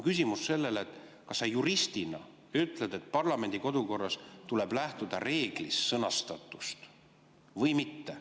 Küsimus on selle kohta, kas sa juristina ütled, et parlamendi kodukorras tuleb lähtuda reeglis sõnastatust või mitte.